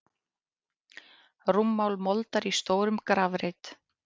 Rúmmál moldar í stórum grafreit.